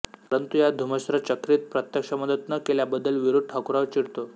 परंतु या धुमश्चक्रीत प्रत्यक्ष मदत न केल्याबद्दल वीरू ठाकुरावर चिडतो